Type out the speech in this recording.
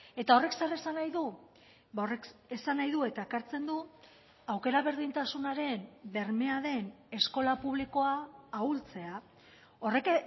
eta horrek zer esan nahi du horrek esan nahi du eta ekartzen du aukera berdintasunaren bermea den eskola publikoa ahultzea horrek